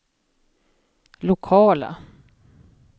lokala